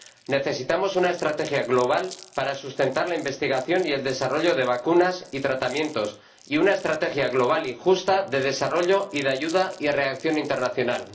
Necesitamos una estrategia global para sustentar la investigación y el desarrollo de vacunas y tratamientos, y una estrategia global y justa de desarrollo y de ayuda y reacción internacional.